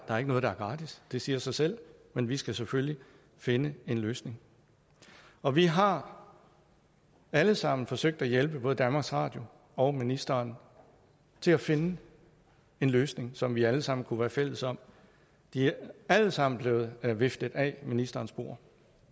er ikke noget der er gratis det siger sig selv men vi skal selvfølgelig finde en løsning og vi har alle sammen forsøgt at hjælpe både danmarks radio og ministeren til at finde en løsning som vi alle sammen kunne være fælles om de er alle sammen blevet viftet af ministerens bord